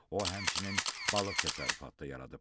O həmçinin balıq təsərrüfatı da yaradıb.